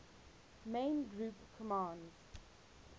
main group compounds